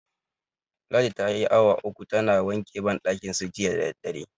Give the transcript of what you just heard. Ladi tayi awa uku tana wanke banɗakinsu jiya da daddare.